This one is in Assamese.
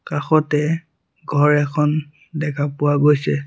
কাষতে ঘৰ এখন দেখা পোৱা গৈছে।